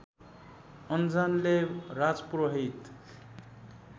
अन्जनले राजपुरोहित